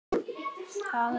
Góða ferð, elsku Svana.